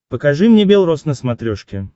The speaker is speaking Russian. покажи мне бел роз на смотрешке